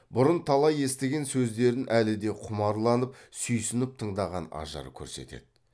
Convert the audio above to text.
бұрын талай естіген сөздерін әлі де құмарланып сүйсініп тыңдаған ажар көрсетеді